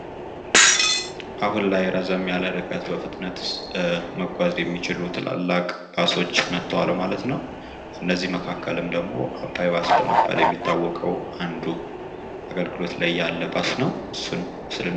አሁን ላይ ረዘም ያለ ርቀት በፍጥነት መጓዝ የሚችሉ ታላላቅ ባሶች መጠዋል ማለት ነዉ። ከእነዚህ መካከልም ደግሞ አባይ ባይ በመባል የሚታወቀዉ አንዱ አገልግሎት ላይ ያለ ባስ ነዉ።